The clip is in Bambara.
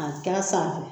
A k'a sanfɛ